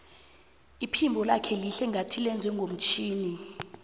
iphimbo lakhe lihle ngathi lenzwe ngomtjhini